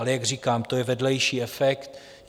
Ale jak říkám, to je vedlejší efekt.